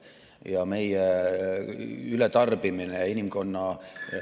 Ja meie ületarbimine, inimkonna ...